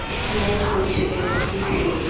इसमें कुछ व्यक्ति भी--